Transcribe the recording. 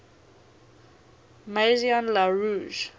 maison la roche